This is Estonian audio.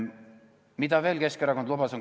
Mida Keskerakond veel lubas?